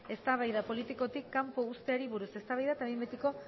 eztabaida politikotik kanpo uzteari buruz eztabaida eta behin betiko